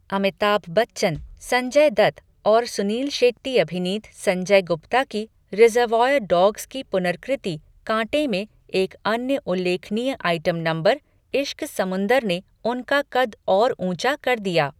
अमिताभ बच्चन, संजय दत्त और सुनील शेट्टी अभिनीत संजय गुप्ता की 'रिज़र्वायर डॉग्स' की पुनर्कृति 'कांटे' में एक अन्य उल्लेखनीय आइटम नंबर 'इश्क समुंदर' ने उनका कद और ऊंचा कर दिया।